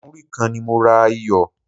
Múrí kan ni mo ra iyọ̀.